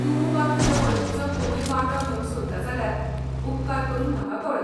तूं वा तुजे वळखिचो कोणूय वांटो घेवंक सोदता जाल्यार उपकार करून म्हाका कळय.